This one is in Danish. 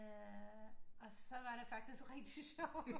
Og så var det faktisk rigtig sjovt